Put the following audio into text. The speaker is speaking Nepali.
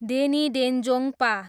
डेनी डेन्जोङ्पा